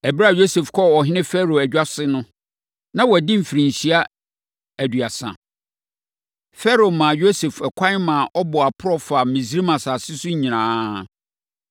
Ɛberɛ a Yosef kɔɔ ɔhene Farao adwa ase no, na wadi mfirinhyia aduasa. Farao maa Yosef ɛkwan ma ɔbɔɔ aporɔ faa Misraim asase so nyinaa.